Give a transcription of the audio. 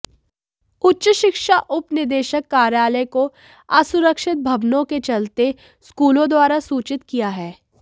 उच्च शिक्षा उपनिदेशक कार्यालय को असुरक्षित भवनांे के चलते स्कूलांे द्वारा सूचित किया है